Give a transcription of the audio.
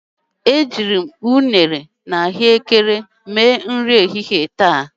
ariri m unere na Ahụekere maka nri ehihie taa.